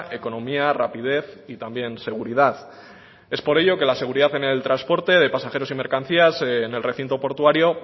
economía rapidez y también seguridad es por ello que la seguridad en el transporte de pasajeros y mercancías en el recinto portuario